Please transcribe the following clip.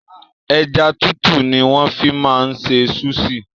Ẹja tútù ni wọ́n fi máa ń ṣe súṣì.